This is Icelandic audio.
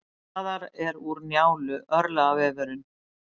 Darraðar er úr Njálu, örlagavefurinn.